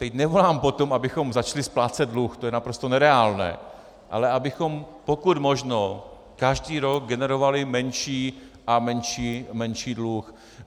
Teď nevolám po tom, abychom začali splácet dluh, to je naprosto nereálné, ale abychom pokud možno každý rok generovali menší a menší dluh.